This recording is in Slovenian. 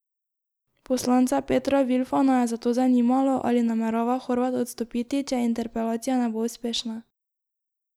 Poslanca Petra Vilfana je zato zanimalo, ali namerava Horvat odstopiti, če interpelacija ne bo uspešna.